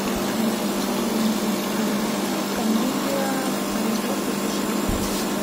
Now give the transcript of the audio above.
найти новинки комедия производство сша